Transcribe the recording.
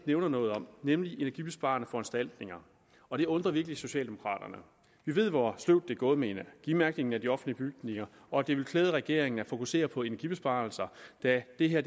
nævner noget om nemlig energibesparende foranstaltninger og det undrer virkelig socialdemokraterne vi ved hvor sløvt det er gået med energimærkningen af de offentlige bygninger og det vil klæde regeringen at fokusere på energibesparelser da det her